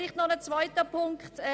Dann noch zum zweiten Punkt.